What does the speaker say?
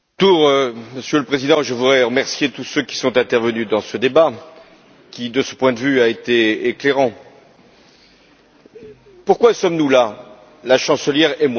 Monsieur le Président, à mon tour, je voudrais remercier tous ceux qui sont intervenus dans ce débat, qui, de ce point de vue, a été éclairant. Pourquoi sommes nous là, la chancelière et moi même?